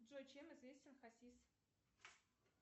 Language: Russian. джой чем известен хасис